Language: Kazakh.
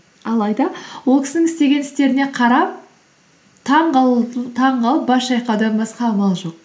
алайда ол кісінің істеген істеріне қарап таңғалып бас шайқаудан басқа амал жоқ